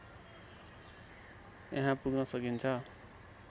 यहाँ पुग्न सकिन्छ